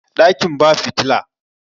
dakin ba fitila